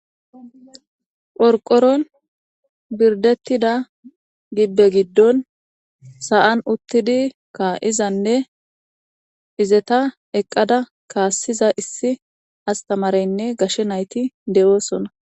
Qorqoron birdetida gibbe giddon sa'an uttidi kaa'izanne izeta eqqada kaassiza issi astamareynne gashe nayti de'osonna.